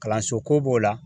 Kalanso ko b'o la